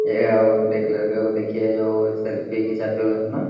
ए आ ओ एक लड़का को देखिये जो एक सेल्फी खिचवाते हुये अपना--